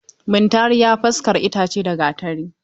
Muntari ya faskara itace da Gatari.